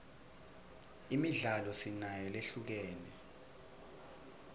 imidlalo sinayo lehlukene